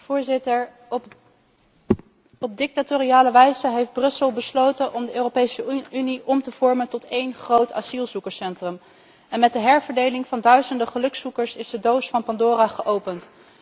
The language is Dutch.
Voorzitter, op dictatoriale wijze heeft Brussel besloten om de Europese Unie om te vormen tot één groot asielzoekerscentrum en met de herverdeling van duizenden gelukszoekers is de doos van Pandora geopend.